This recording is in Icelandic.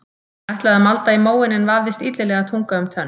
Hann ætlaði að malda í móinn en vafðist illilega tunga um tönn.